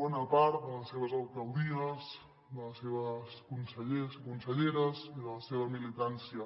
bona part de les seves alcaldies dels seus consellers i conselleres i de la seva militància